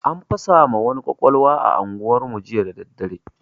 An fasa ma wani kwakwalwa a unguwar mu jiya dadadare